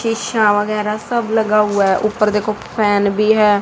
सीसा वगैरा सब लगा हुआ है ऊपर देखो फैन भी है।